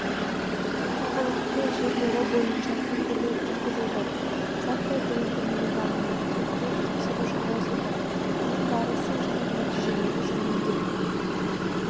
тұрғылықты жерлері бойынша тінтулер жүргізілді заттай дәлелдемелер алынды тергеп-тексеру жалғасуда оның барысы және нәтижелері жөнінде